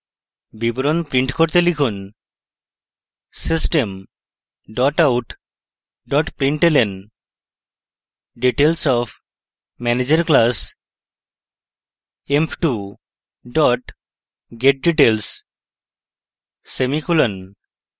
বিবরণ print করতে লিখুন: system out println details of manager class: emp2 getdetails semicolon